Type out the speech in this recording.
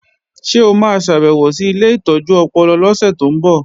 Ṣé o ma ṣàbèwò sí ilé ìtọ́jú ọpọlọ lọ́sẹ̀ tó ń bọ̀?